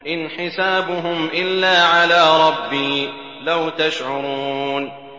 إِنْ حِسَابُهُمْ إِلَّا عَلَىٰ رَبِّي ۖ لَوْ تَشْعُرُونَ